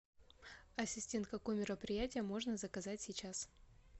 ассистент какое мероприятие можно заказать сейчас